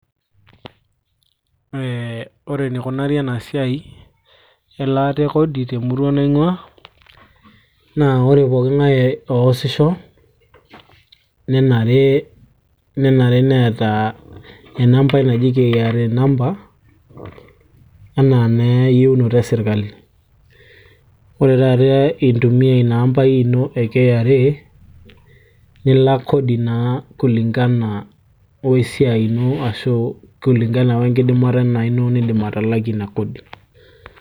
ee ore enikunari ena esiai elaata e kodi temurua naing'ua naa ore poking'ae oosisho nenare neeta enampai naji KRA nampa enaa naa eyieunoto e sirkali ore taata intumia ina ampai ino e KRA nilak kodi naa kulingana wesiai ino ashu kulingana wenkidimata inaaji ino nindim atalakie ina kodi.